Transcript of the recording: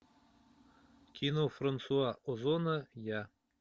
кино франсуа озона я